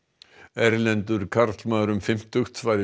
erlendur karlmaður um fimmtugt var